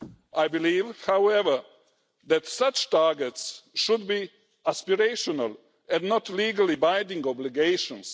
I believe, however, that such targets should be aspirational and not legally binding obligations.